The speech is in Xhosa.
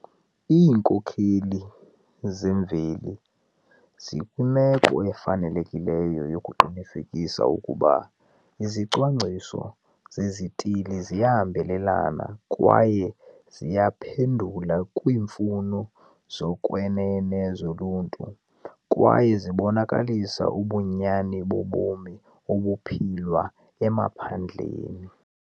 Iinkokheli zemveli zikwimeko efanelekileyo yokuqinisekisa ukuba izicwangciso zezithili ziyahambelana kwaye ziyaphendula kwiimfuno zokwenene zoluntu kwaye zibonakalisa ubunyani bobomi obuphilwa emaphandleni.